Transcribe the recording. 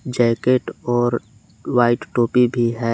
Jacket और white टोपी भी है।